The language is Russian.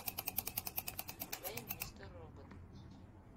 включай мистер робот